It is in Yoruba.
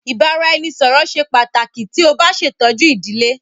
Ibaraẹnisọrọ ṣe pataki ti o ba ṣetọju idile